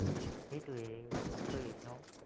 সেইটোৱেই, আচৰিত ন?